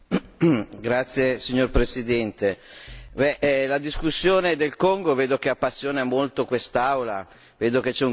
Signor Presidente, vedo che la discussione sul Congo appassiona molto quest'Aula, vedo che c'è un grande fermento.